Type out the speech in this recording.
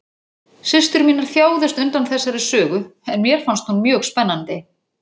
Systur mínar þjáðust undan þessari sögu en mér fannst hún mjög spennandi.